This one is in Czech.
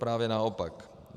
Právě naopak.